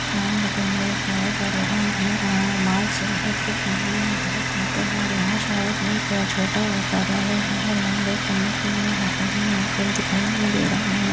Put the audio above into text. आम लगे हुए हैं शायद और वहाँ हमें आम आ मार्च या ऐप्रिल महिने में बहुत मिलते हैं और यहाँ शायद एक छोटा कार्यालय है और यहाँ लोग पढ़ने के लिए आते हैं। यहाँ कोई दिखाई नहीं दे रहा है।